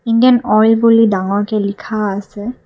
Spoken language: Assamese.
ইণ্ডিয়ান অইল বুলি ডাঙৰকে লিখা আছে।